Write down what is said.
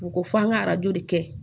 U ko f'an ka arajo de kɛ